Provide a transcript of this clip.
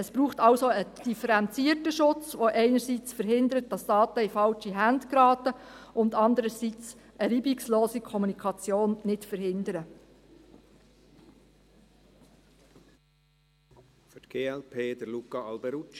Es braucht also einen differenzierten Schutz, der auch einerseits verhindert, dass Daten in falsche Hände geraten und andererseits eine reibungslose Kommunikation nicht verhindert.